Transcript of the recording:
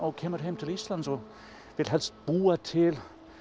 kemur heim til Íslands og vill helst búa til